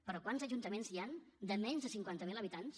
però quants ajuntaments hi han de menys de cinquanta mil habitants